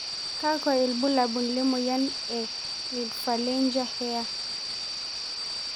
Kakwa ibulabul lemoyian e Midphalangea hair?